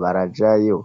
barajayo.